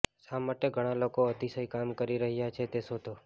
શા માટે ઘણા લોકો અતિશય કામ કરી રહ્યાં છે તે શોધો